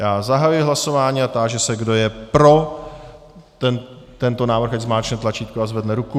Já zahajuji hlasování a táži se, kdo je pro tento návrh, ať zmáčkne tlačítko a zvedne ruku.